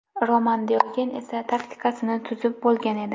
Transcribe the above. Roman Diogen esa taktikasini tuzib bo‘lgan edi.